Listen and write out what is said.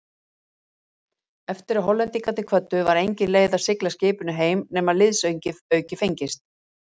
Eftir að Hollendingarnir kvöddu, var engin leið að sigla skipinu heim nema liðsauki fengist.